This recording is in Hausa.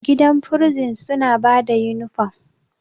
gidan bursin suna ba da inifom